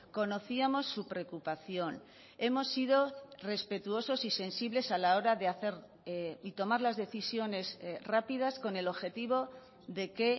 conocíamos su preocupación hemos sido respetuosos y sensibles a la hora de hacer y tomar las decisiones rápidas con el objetivo de que